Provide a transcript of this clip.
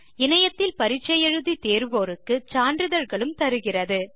இணையத்தில் பரிட்சை எழுதி தேர்வோருக்கு சான்றிதழ்களும் தருகிறது